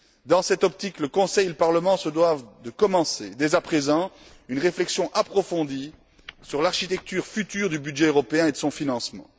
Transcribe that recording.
Dans cette optique, le Conseil et le Parlement se doivent de commencer dès à présent une réflexion approfondie sur l'architecture future du budget européen et de son financement.